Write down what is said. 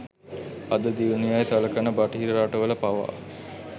අද දියුණු යැයි සලකන බටහිර රටවල පවා